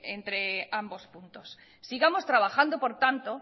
entre ambos puntos sigamos trabajando por tanto